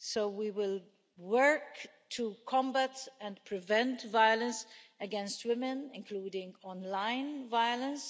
We will work to combat and prevent violence against women, including online violence.